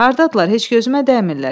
Hardadırlar? Heç gözümə dəymirlər.